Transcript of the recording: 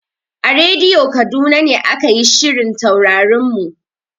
A rediyo Kaduna ne aka yi shirin Taurarin mu.